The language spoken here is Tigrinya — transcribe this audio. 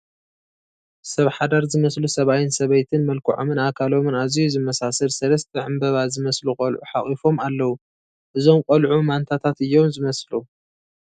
ሰብ ሓዳር ዝመስሉ ሰብኣይን ሰበይትን መልክዖምን ኣካሎምን ኣዝዩ ዝመሳሰል ሰለስተ ዕምበባ ዝመስሉ ቆልዑ ሓቒፎም ኣለዉ፡፡ እዞም ቆምዑ ማንታታት እዮም ዝመስሉ፡፡